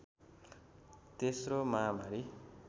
तेश्रो महामारी